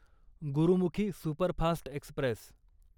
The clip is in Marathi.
Gurmukhi superfast Express